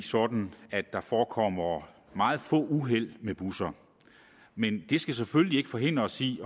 sådan at der forekommer meget få uheld med busser men det skal selvfølgelig ikke forhindre os i